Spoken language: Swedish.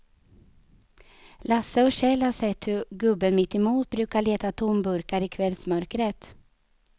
Lasse och Kjell har sett hur gubben mittemot brukar leta tomburkar i kvällsmörkret.